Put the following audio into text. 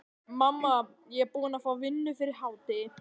Mamma, ég er búinn að fá vinnu fyrir hádegi.